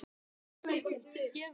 En Fúsi vildi ekki gefast upp.